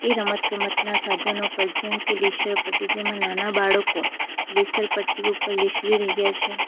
એ રમત ગમતના સાધનો પર જેમ કે લીશરપટ્ટી જેમાં નાના બાળકો લીસરપટ્ટી ઉપર લિશરી રહ્યા છે.